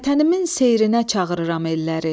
Vətənimin seyrinə çağırıram əlləri.